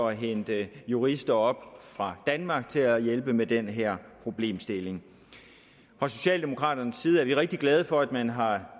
at hente jurister op fra danmark til at hjælpe med den her problemstilling fra socialdemokraternes side er vi rigtig glade for at man har